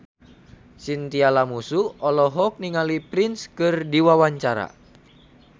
Chintya Lamusu olohok ningali Prince keur diwawancara